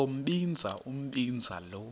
sombinza umbinza lo